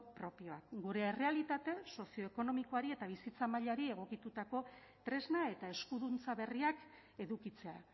propioak gure errealitate sozioekonomikoari eta bizitza mailari egokitutako tresna eta eskuduntza berriak edukitzea